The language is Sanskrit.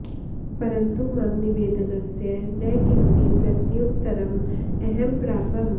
परन्तु मम निवेदनस्य न किमपि प्रत्युत्तरम् अहं प्रापम्